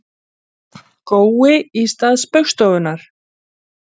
Það er gott veður og allt til alls í Víkinni í kvöld.